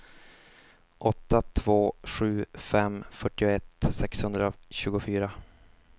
åtta två sju fem fyrtioett sexhundratjugofyra